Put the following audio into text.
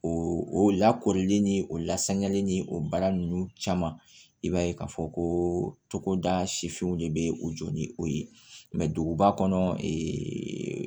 O lakooli ni o lasanyali ni o baara ninnu caman i b'a ye k'a fɔ ko togoda sifinw de bɛ o jɔ ni o ye duguba kɔnɔ ee